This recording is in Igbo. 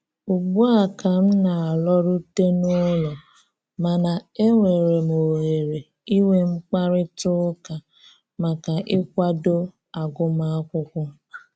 Ugbua ka m na-alọrute n'ụlọ, mana e nwere m ohere inwe mkparịta ụka maka ịkwado agụmakwụkwọ